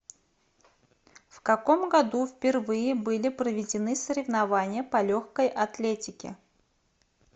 в каком году впервые были проведены соревнования по легкой атлетике